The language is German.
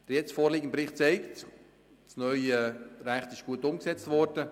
Der jetzt vorgelegte Bericht zeigt, dass das neue Recht gut umgesetzt wurde.